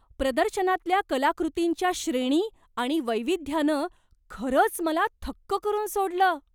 प्रदर्शनातल्या कलाकृतींच्या श्रेणी आणि वैविध्यानं खरंच मला थक्क करून सोडलं.